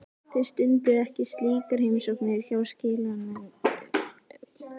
Þið stundið ekki slíkar heimsóknir hjá skilanefndunum?